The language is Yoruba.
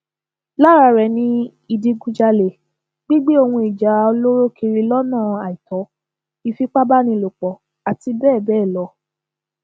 lára rẹ ni ìdígunjalè gígbé ohun ìjà olóró kiri lọnà àìtó ìfipábánilòpọ àti bẹẹ bẹẹ lọ